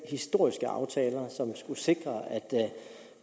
historiske aftaler som skulle sikre at